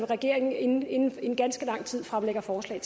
regeringen inden inden længe fremlægger forslag